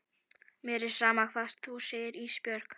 Mér er sama hvað þú segir Ísbjörg.